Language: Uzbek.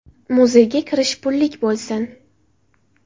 Muzeyga kirish pullik bo‘lsin.